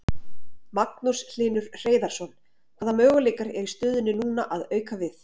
Magnús Hlynur Hreiðarsson: Hvaða möguleikar eru í stöðunni núna að auka við?